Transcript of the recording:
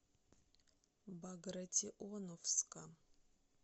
багратионовска